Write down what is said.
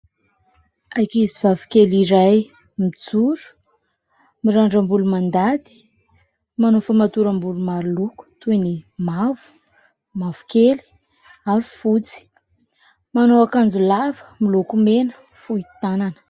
Ankizivavy kely iray mijoro, mirandram-bolo mandady, manao famatoram-bolo maroloko toy ny mavo, mavokely ary fotsy, manao akanjo lava miloko mena fohy tanana